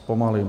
Zpomalím.